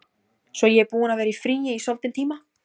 Svo ég er búin að vera í fríi í soldinn tíma.